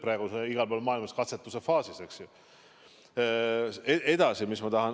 Praegu on see igal pool maailmas katsetuse faasis.